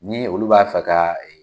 Ni olu b'a fɛ ka .